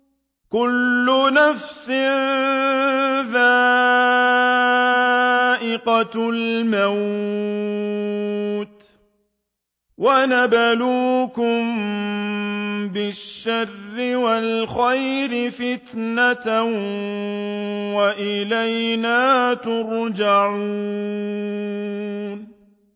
كُلُّ نَفْسٍ ذَائِقَةُ الْمَوْتِ ۗ وَنَبْلُوكُم بِالشَّرِّ وَالْخَيْرِ فِتْنَةً ۖ وَإِلَيْنَا تُرْجَعُونَ